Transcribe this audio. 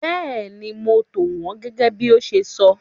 Bẹ́ẹ̀ni, mo tò wọn gẹ́gẹ́ bí o ṣe sọ.